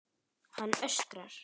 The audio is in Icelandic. Hann öskrar.